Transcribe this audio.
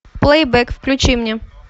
плейбэк включи мне